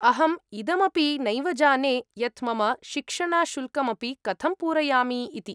अहम् इदमपि नैव जाने यत् मम शिक्षणशुल्कमपि कथं पूरयामि इति।